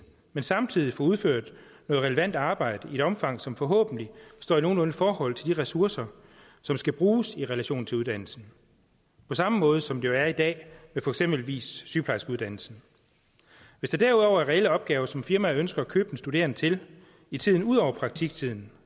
men samtidig får udført noget relevant arbejde i et omfang som forhåbentlig står i nogenlunde forhold til de ressourcer som skal bruges i relation til uddannelsen på samme måde som det jo er i dag med eksempelvis sygeplejerskeuddannelsen hvis der derudover er reelle opgaver som firmaet ønsker at købe den studerende til i tiden ud over praktiktiden